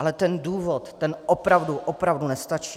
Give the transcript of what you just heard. Ale ten důvod, ten opravdu, opravdu nestačí.